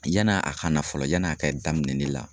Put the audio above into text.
Yann'a ka na fɔlɔ yan'a ka daminɛ ne la